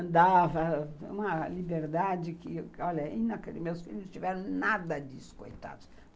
Andava, uma liberdade que, olha, meus filhos não tiveram nada disso, coitados.